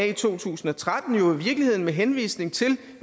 i to tusind og tretten jo i virkeligheden med henvisning til